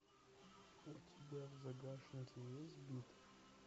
у тебя в загашнике есть бит